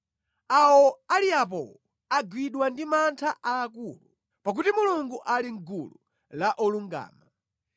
Awo ali apowo, agwidwa ndi mantha aakulu, pakuti Mulungu ali mʼgulu la olungama.